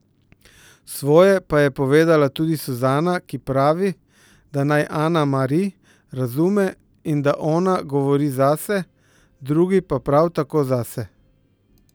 Svoje pa je povedala tudi Suzana, ki pravi, da naj Ana Mari razume in da ona govori zase, drugi pa prav tako zase.